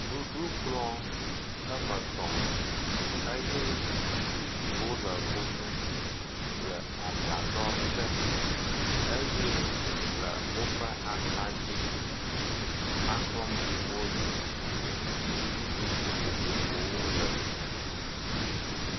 Nuɖukplɔ ame etɔ eye zipuiwo le eŋu le agbadɔ te eye le woƒe axa dzi ekplɔ bubuwo li si dzi nu ɖuɖu vovovowo le.